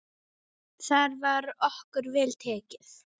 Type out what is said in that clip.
Þar var okkur vel tekið.